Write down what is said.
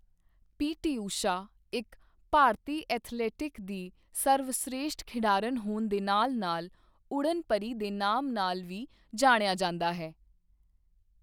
ਪੀ T Usha ਇੱਕ ਭਾਰਤੀ athletic ਦੀ ਸਰਵਸ੍ਰੇਸ਼ਟ ਖਿਡਾਰਨ ਹੋਣ ਦੇ ਨਾਲ ਨਾਲ ਉੱਡਣ ਪਰੀ ਦੇ ਨਾਮ ਨਾਲ ਵੀ ਜਾਣਿਆ ਜਾਂਦਾ ਹੈ